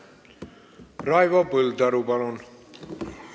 Raivo Põldaru, palun!